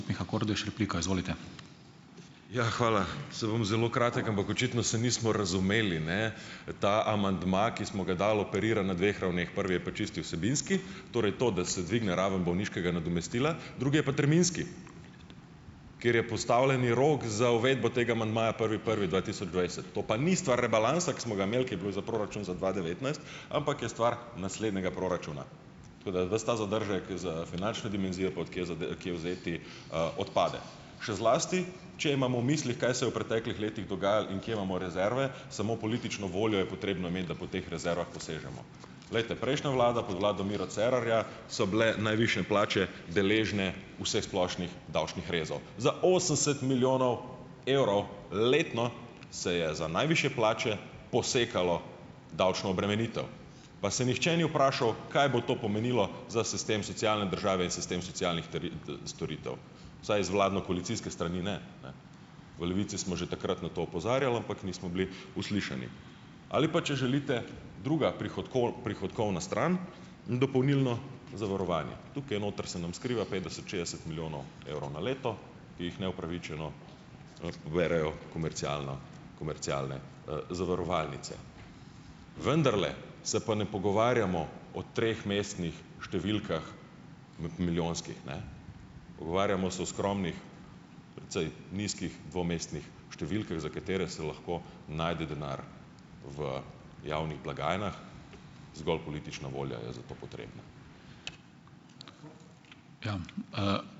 Ja, hvala. Saj bom zelo kratek, ampak očitno se nismo razumeli, ne. Ta amandma, ki smo ga dali, operira na dveh ravneh. Prvi je pa čisto vsebinski, torej to, da se dvigne raven bolniškega nadomestila, drugi je pa terminski, ker je postavljeni rok za uvedbo tega amandmaja prvi prvi dva tisoč dvajset. To pa ni stvar rebalansa, ko smo ga imeli, ko je bil za proračun za dva devetnajst, ampak je stvar naslednjega proračuna. Tako da ves ta zadržek je za finančne dimenzije, pa od kje kje vzeti, odpade. Še zlasti če imam v mislih, kaj se je v preteklih letih dogajalo in kje imamo rezerve, samo politično voljo je potrebno imeti, da po teh rezervah posežemo. Glejte, prejšnja vlada, pod vlado Miro Cerarja so bile najvišje plače deležne vseh splošnih davčnih rezov. Za osemdeset milijonov evrov letno se je za najvišje plače posekalo davčno obremenitev, pa se nihče ni vprašal, kaj bo to pomenilo za sistem socialne države in sistem socialnih storitev, vsaj z vladno-koalicijske strani ne, ne. V Levici smo že takrat na to opozarjali, ampak nismo bili uslišani. Ali pa, če želite, druga prihodkovna stran in dopolnilno zavarovanje. Tukaj noter se nam skriva petdeset, šestdeset milijonov evrov na leto, ki jih neupravičeno poberejo komercialna, komercialne, zavarovalnice. Vendarle se pa ne pogovarjamo o tromestnih številkah, milijonskih, ne. Pogovarjamo se o skromnih, precej nizkih dvomestnih številkah, za katere se lahko najde denar v javnih blagajnah, zgolj politična volja je za to potrebna.